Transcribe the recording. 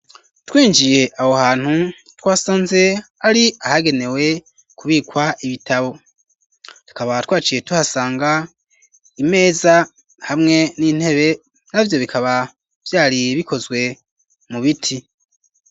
Twinjiye aho hantu twasanze ari ahagenewe kubikwa ibitabo ,tukaba twaciye tuhasanga imeza hamwe n'intebe, navyo bikaba vyari bikozwe mu biti.